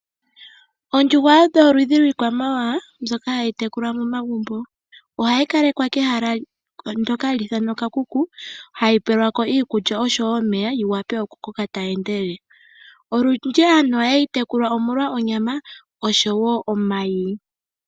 Oondjuhwa odho oludhi lwiikwamawawa mbyoka hayi tekulwa momagumbo. Ohayi kalekwa kehala ndoka hali ithanwa okakuku, hayi pelwa ko iikulya osho wo omeya yi wape okukoka tayi endelele. Olundji aantu ohaye yi tekula omolwa onyama, osho wo omayi.